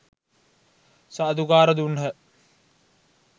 සාධුකාර දුන්හ.